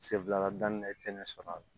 Sen fila daminɛ i tɛ ne sɔrɔ